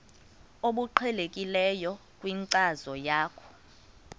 obuqhelekileyo kwinkcazo yakho